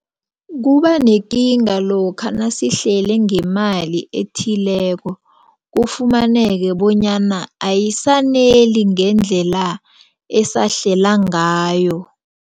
Kubanekinga lokha nasihlele ngemali ethileko kufumaneke bonyana ayisaneli ngendlela esahlela ngayo.